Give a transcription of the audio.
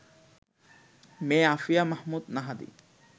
মেয়ে আফিয়া মাহমুদ নাহাদী